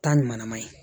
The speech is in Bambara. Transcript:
Taa ɲuman ye